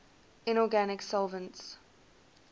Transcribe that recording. inorganic solvents